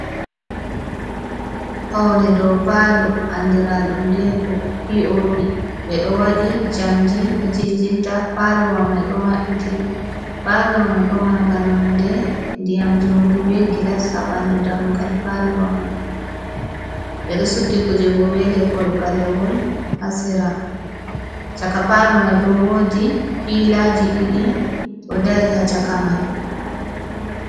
Pawne dow paalo andiraɗum deeko, piioopi ɓe ɗo waɗi njamndi ɗo jiljilta. Paalo wa may ɗo maɓɓiti, paalo wa may bo mannga nonnde ndiyam njumri bee gilas ha ɓanndu dammugal Paalo wa may. Ɓe ɗo suddi kuuje bo bee leppol ɓalewol ha sera, caka Paalo may bo woodi piilaaji ɗiɗi ɗo dari ha caka ma.